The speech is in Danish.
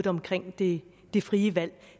omkring det det frie valg